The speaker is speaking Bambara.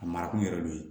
A mara kun yɛrɛ don